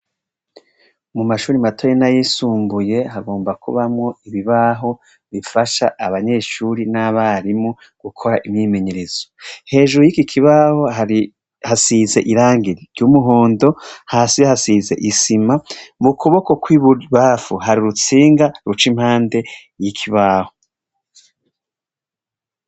Mu mashuri matoyi n'ayisumbuye, hagomba kubamwo ibibaho bifasha abanyeshuri n'abarimu gukora imyimenyerezo. Hejuru y'iki kibaho hasize irangi ry'umuhondo, hasi hasize isima, mu kuboko kw'ibubamfu hari urutsinga ruca impande y'ikibaho.